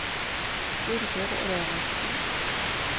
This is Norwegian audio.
Birger Reinertsen